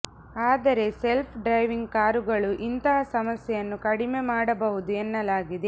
ಅದರೆ self driving ಕಾರುಗಳು ಇಂತಹ ಸಮಸ್ಯೆಯನ್ನು ಕಡಿಮೆ ಮಾಡಬಹುದು ಎನ್ನಲಾಗಿದೆ